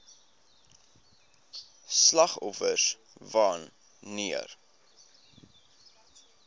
slagoffers wan neer